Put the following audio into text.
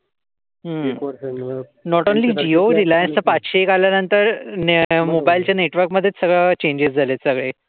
हम्म not only Jio. रिलायन्सच पाचशे एक आल्या नंतर मोबाईलच्या नेटवर्क मध्येच सगळ चेंजेस झालेत सगळे.